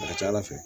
A ka ca ala fɛ